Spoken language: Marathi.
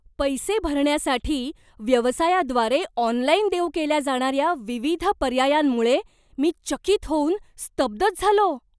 पैसे भरण्यासाठी व्यवसायाद्वारे ऑनलाइन देऊ केल्या जाणाऱ्या विविध पर्यायांमुळे मी चकित होऊन स्तब्धच झालो.